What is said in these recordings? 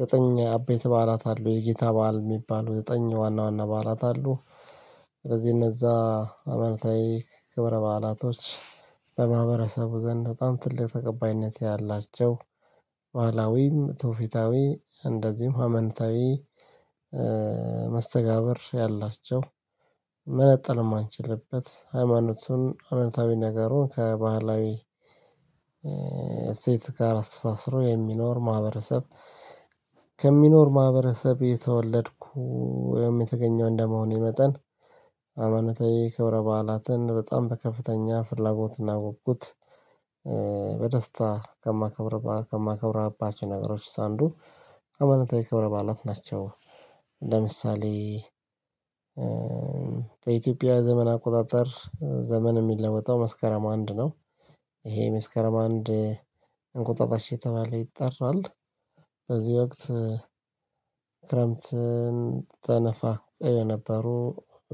ዘጠኝ አቤት በዓላት አለው የጌታ በዓል የሚባለው ዘጠኝ ዋና ዋና በዓላት አለው። ስለዚህ እነዛ ሃይማንታዊ ክብረ በዓላቶች በማህበረሰቡ ዘንድ በጣም ትልቅ ተቀባይነት ያላቸው። ትውፊታዊ እንደዚሁም ሀማኖታዊ መስተጋብር ያላቸው። መነጠል የማንችልበት ሃይማኖቱን አመታዊ ነገሩን ከባህላዊ እሴት ከአራት አስራ የሚኖር ማህበረሰብ። ከሚኖር ማህበረሰብ የተወለድኩ ወይም የተገኘው እንደመሆኔ መጠን ሃይማናታዊ ክብረ በዓላትን በጣም በከፍተኛ ፍላጎት እናወቅኩት። በደስታ ከማከብር ከማከብር አባችሁ ነገሮች አንዱ ሃይማኖታዊ ክብረ በዓላት ናቸው። ለምሳሌ በኢትዮጵያ ዘመን አቆጣጠር ዘመን የሚለወጣው መስከረም አንድ ነው። ይሄ መስከረም አንድ እንቁጣጣሽ የተባለ ይጠራል። በዚህ ወቅት ክረምትን ተነፋ የነበሩ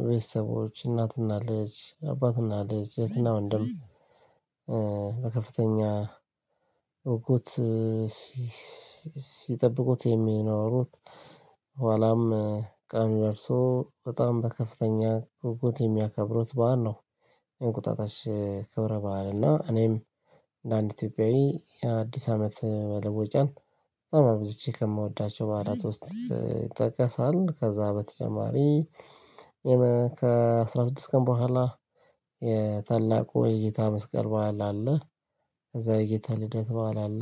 ቤተሰቦች እናትና ልጅ አባትና ልጅ የትና ወንድም። በከፍተኛ ጉጉት ሲጠብቁት የሚኖሩት ኋላም ቀን ደርሶ በጣም በከፍተኛ ጉጉት የሚያከብሩት በዓል ነው። እንቁጣጣሽ ከብረ በዓል እና እኔም እንደ ለአንድ ኢትዮጵያዊ የአዲስ አመት በለቦጫን በጣም ብዙዎች ከምወዳቸው በአራት ውስጥ ይጠቀሳል። ከዛ በተጨማሪ ከአስራ ስድስት ቀን በኋላ የጌታ መስቀል በዓል አለ። ከዛ የጌታ ልደት በዓል አለ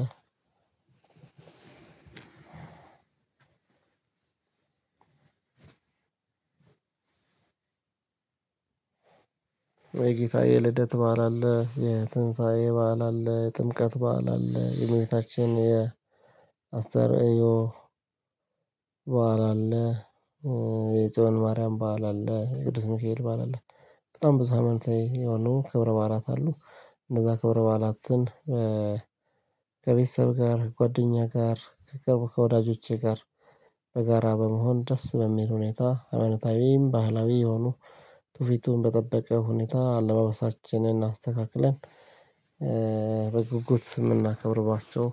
አንድ ወይ ጌታ የልደት በዓል አለ የትንሳኤ በዓል አለ የጥምቀት በዓል አለ የመቤታችን የአስተርእዮ በዓል አለ። የጽዮን ማርያም በዓል አለ ቅዱስ ሚካኤል በዓል አለ። በጣም ብዙ ሃይማኖታዊ የሆነው ክብረ ባላት አሉ እንደዛ ክብረ ባላትን። ከቤተሰብ ጋር ጓደኛ ጋር ከቅርብ ከወዳጆቼ ጋር በጋራ በመሆን ደስ በሚል ሁኔታ ሃይማኖታዊም ባህላዊ የሆኑ ጥፊቱን በጠበቀ ሁኔታ አለባበሳችንን አስተካክለን በጉጉት ስምና ከብርባቸው።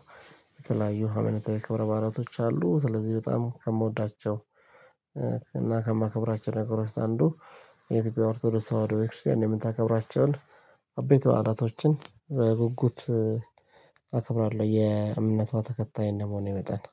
የተለያዩ ሃይማኖታዊ የክብረ ባህላዊቶች አሉ። ስለዚህ በጣም ከምወዳቸው እና ከማከብራቸው ነገሮች አንዱ የኢትዮጵያ ኦርቶዶክስት ተዋህዶ ሰው ወደ ቤተክርስቲያን የምታከብራቸውን አቤት በአራቶችን ጉጉት አከብራለሁ። የእምነቷ ተከታይ እንደመሆን መጠን